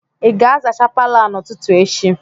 Ị ga-azacha Palọ a n'ụtụtụ echi?